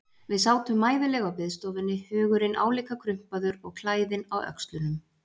Við sátum mæðuleg á biðstofunni, hugurinn álíka krumpaður og klæðin á öxlunum.